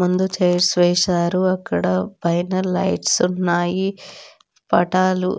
ముందు చైర్స్ వేశారు. అక్కడ పైన లైట్స్ ఉన్నాయి. పటాలు